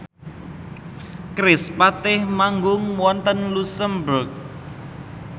kerispatih manggung wonten luxemburg